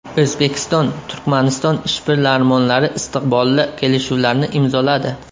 O‘zbekiston – Turkmaniston ishbilarmonlari istiqbolli kelishuvlarni imzoladi.